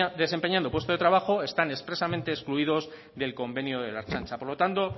desempeñando puesto de trabajo están expresamente excluidos del convenio de la ertzaintza por lo tanto